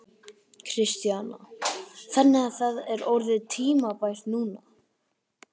Kristjana: Þannig að það er orðið tímabært núna?